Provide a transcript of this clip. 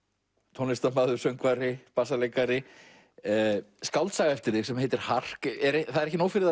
tónlistarmaður söngvari bassaleikari skáldaga eftir þig sem heitir hark það er ekki nóg fyrir